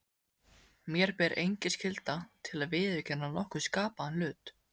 Mér ber engin skylda til að viðurkenna nokkurn skapaðan hlut.